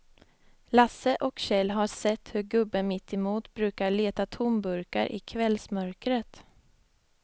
Lasse och Kjell har sett hur gubben mittemot brukar leta tomburkar i kvällsmörkret.